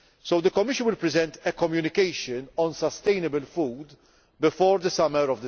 The Commission will present a communication on sustainable food by this summer.